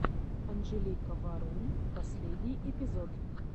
анжелика варум последний эпизод